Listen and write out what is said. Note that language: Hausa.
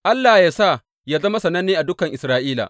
Allah yă sa yă zama sananne a dukan Isra’ila!